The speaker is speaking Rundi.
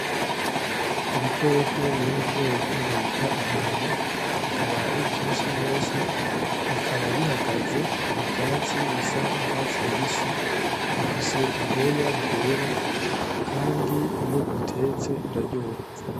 Ibikoko biri mu bwoko bita intama akaba ari vyinshi gose bikaba bihagaze mu vyatsi bisa n’urwatsi rubisi bifise ubwoya bwera kandi iyo ubitetse biraryoha.